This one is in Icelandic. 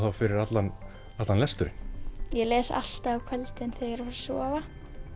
fyrir allan lesturinn ég les alltaf á kvöldin þegar ég fer að sofa